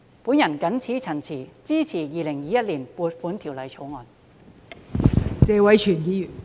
我謹此陳辭，支持《2021年撥款條例草案》。